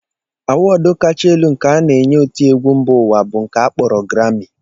Awọọd Kacha elu nke a na-enye otiegwu mba ụwa bụ nke a kpọrọ grammị